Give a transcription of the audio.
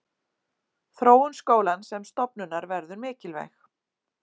Þróun skólans sem stofnunar verður mikilvæg.